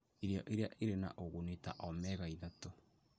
Irio iria irĩ na ũguni ta omega-3,